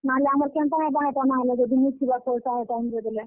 ନାହେଲେ ଆମର୍ କେନ୍ତା ହେବା ହେଟା ନାହେଲେ ଯଦି ନି ଥିବା ପଏସା ହେ time ବେଲେ?